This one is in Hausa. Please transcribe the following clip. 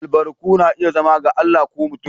Albarku na iya zama daga Allah ko mutum.